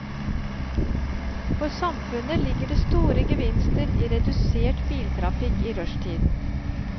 For samfunnet ligger det store gevinster i redusert biltrafikk i rushtiden.